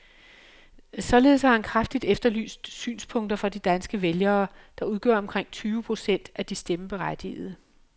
Således har han kraftigt efterlyst synspunkter fra de danske vælgere, der udgør omkring tyve procent af de stemmeberettigede.